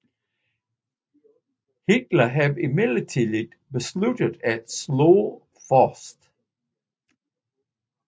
Hitler havde imidlertid besluttet at slå først